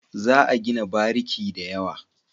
Za a gina bariki da yawa.